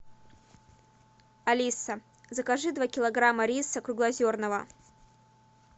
алиса закажи два килограмма риса круглозерного